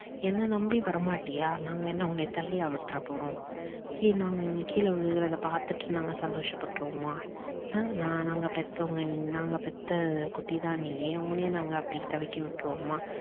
என்ன நம்பி வரமாட்டியா? நாங்க என்ன உன்ன தள்ளியா விட்டுட போறோம். கீழ கீழ விழுகுறத பாத்துட்டு நாங்க சந்தோஷ பற்றுவோமா அஹ் நாங்க பெத்தவங்க நாங்க பெத்த குட்டி தான் நீ உன்னைய நாங்க அப்படி தவிக்க விட்டுருவோமா?